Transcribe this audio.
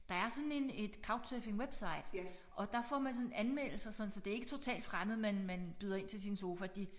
Der er sådan en et couch surfing website og der får man sådan anmeldelser sådan så det er ikke totalt fremmede man man byder ind til sin sofa de